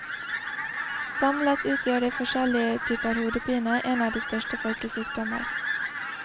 Samlet utgjør de forskjellige typer hodepine en av de største folkesykdommer.